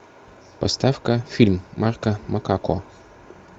поставь ка фильм марко макако